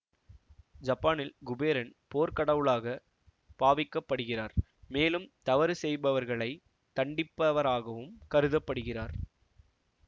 ஜப்பானில் குபேரன் போர்க்கடவுளாக பாவிக்கப்படுகிறார் மேலும் தவறு செய்பவர்களை தண்டிப்பவராகவும் கருத படுகிறார்